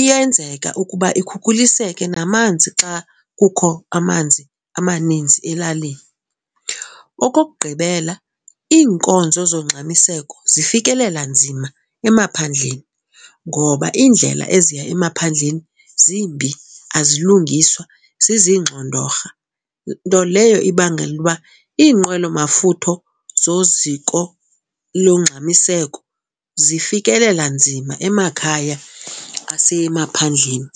iyenzeka ukuba ikhukhuliseke namanzi xa kukho amanzi amaninzi elalini. Okokugqibela, iinkonzo zongxamiseko zifikelela nzima emaphandleni ngoba iindlela eziya emaphandleni zimbi, azilungiswa, zizingxondorha. Nto leyo ibangela uba iinqwelo mafutho zoziko longxamiseko zifikelela nzima emakhaya asemaphandleni.